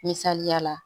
Misaliya la